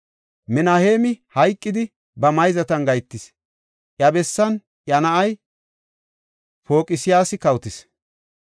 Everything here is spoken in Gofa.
Minaheemi hayqidi, ba mayzatan gahetis; iya bessan iya na7ay Paqsiyaasi kawotis.